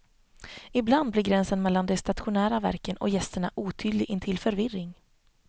Ibland blir gränsen mellan de stationära verken och gästerna otydlig intill förvirring.